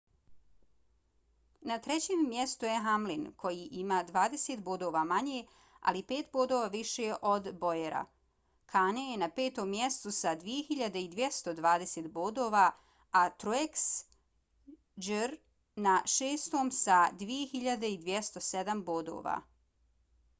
na trećem mjestu je hamlin koji ima dvadeset bodova manje ali pet bodova više od bowyera. kahne je na petom mjestu sa 2.220 bodova a truex jr. na šestom sa 2.207 bodova